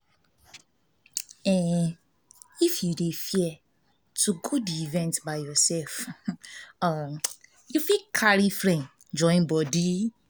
if you dey fear to go di event by yourself um you fit carry friend join body